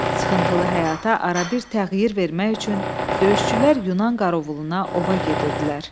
Sıxıntılı həyata ara bir təxir vermək üçün döyüşçülər Yunan qorovuluna ova gedirdilər.